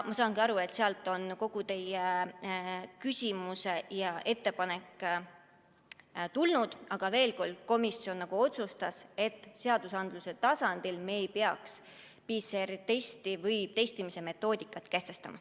Ma saan aru, et sellest tuleneb kogu teie küsimus ja ettepanek, aga veel kord: komisjon otsustas, et seaduse tasandil me ei peaks PCR‑testide tegemise metoodikat kehtestama.